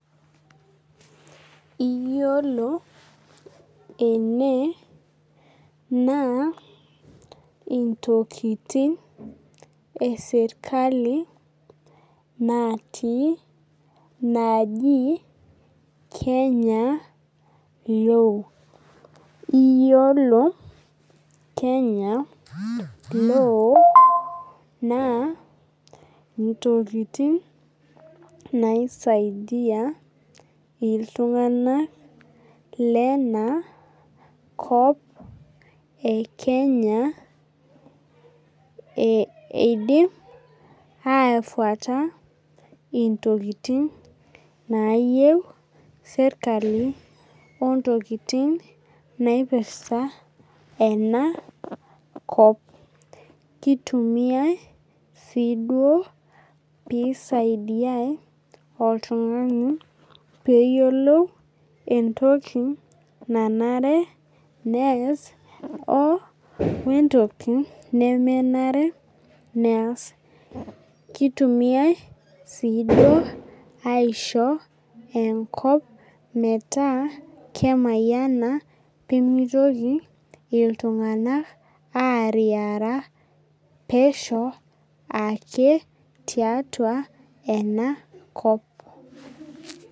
Iyiolo ene naa intokiting esirkali natii naji Kenya law. Iyiolo Kenya law, naa intokiting naisaidia iltung'anak lena kop e Kenya eidip ai fuata intokiting nayieu serkali, ontokiting naipirta enakop. Kitumiai si duo pisaidiai oltung'ani peyiolou entoki nanare nees wentoki nemenare nees. Kitumiai si duo aisho enkop metaa kemayiana pemitoki iltung'anak ariyara pesho ake tiatua enakop.